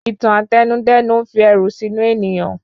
Ìtàn àtẹnudẹ́nu n fi ẹ̀rù sínú ènìyàn